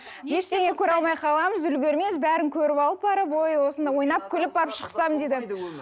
ештеңе көре алмай қаламыз үлгермейміз бәрін көріп алып барып ой осында ойнап күліп барып шықсам дейді